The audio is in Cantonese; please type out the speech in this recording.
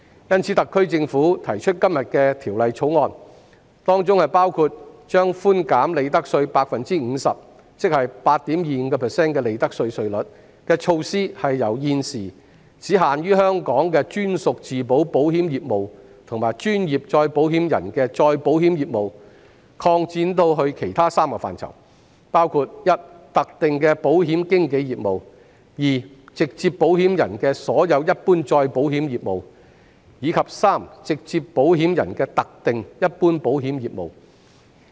因此，特區政府提出《條例草案》，包括將寬減利得稅 50%， 即 8.25% 的利得稅稅率的措施，由現時只限於香港的專屬自保保險業務和專業再保險人的再保險業務，擴展至其他3個範疇，包括特定的保險經紀業務；直接保險人的所有一般再保險業，以及直接保險人的特定一般保險業務。